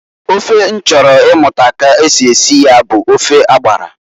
Ofe m chọrọ imu ka esi esi ya bu ofe agbara.